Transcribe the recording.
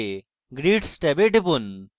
এরপর grids ট্যাবে টিপুন